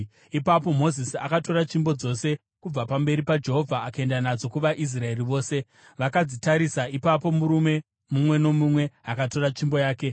Ipapo Mozisi akatora tsvimbo dzose kubva pamberi paJehovha akaenda nadzo kuvaIsraeri vose. Vakadzitarisa, ipapo murume mumwe nomumwe akatora tsvimbo yake.